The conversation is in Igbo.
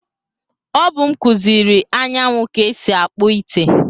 O bu m kuziri Anyanwụ ka esi akpu ite.